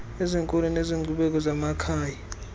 ezenkolo nezenkcubeko zamakhaya